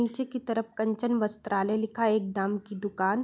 नीचे की तरफ कंचन वस्त्रालय लिखा है। एक दाम की दुकान।